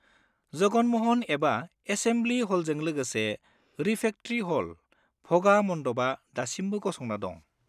जगन म'हन एबा एसेम्बलि ह'लजों लोगोसे रिफेकट्रि ह'ल, भ'गा मन्डपआ दासिमबो गसंना दं।